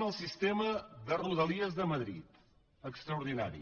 el sistema de rodalies de madrid extraordinari